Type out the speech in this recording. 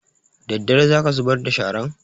Daddare za ka zubar da sharan?